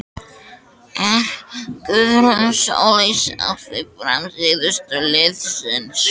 Er Guðrún Sóley sátt við frammistöðu liðsins?